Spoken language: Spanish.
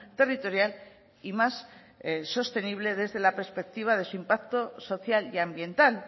territorial y más sostenible desde la perspectiva de su impacto social y ambiental